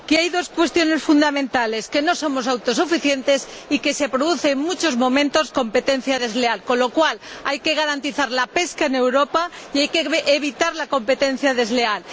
dos aspectos fundamentales que no somos autosuficientes y que se produce, en muchos momentos, competencia desleal, con lo cual hay que garantizar la pesca en Europa y hay que evitar la competencia desleal.